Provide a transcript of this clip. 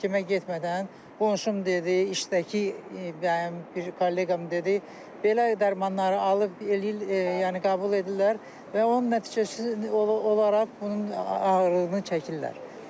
Həkimə getmədən qonşum dedi, işdəki bir kolleqam dedi, belə dərmanları alıb eləyir yəni qəbul edirlər və onun nəticəsi olaraq bunun ağırlığını çəkirlər.